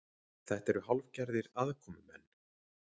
Þetta eru hálfgerðir aðkomumenn